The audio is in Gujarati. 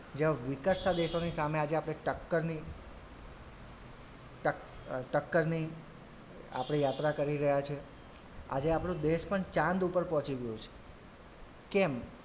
જેવા વિકસતાં દેશોની સામે આજે આપડે ટક્કરની ટક્ક અ ટક્કરની આપડે યાત્રા કરી રહ્યાં છે આજે આપડો દેશ પણ ચંદ ઉપર પહોચી ગયું છે કેમ?